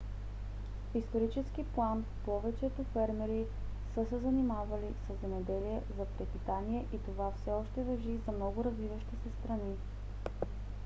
в исторически план повечето фермери са се занимавали със земеделие за препитание и това все още важи за много развиващи се страни